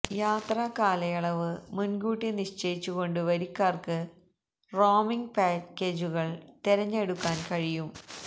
യാത്രാ കാലയളവ് മുന്കൂട്ടി നിശ്ചയിച്ചു കൊണ്ട് വരിക്കാര്ക്ക് റോമിംഗ് പാക്കേജു കള് തെരഞ്ഞെടുക്കാന് കഴിയും